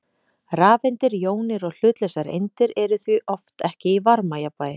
Rafeindir, jónir og hlutlausar eindir eru því oft ekki í varmajafnvægi.